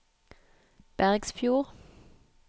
Bergsfjord